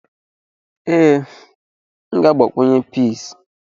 Ee, m ga-agbakwunye peas.